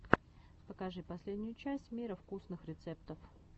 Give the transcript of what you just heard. покажи последнюю часть мира вкусных рецептов